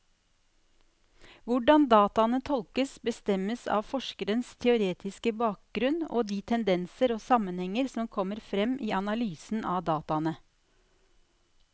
Hvordan dataene tolkes, bestemmes av forskerens teoretiske bakgrunnen og de tendenser og sammenhenger som kommer frem i analysen av dataene.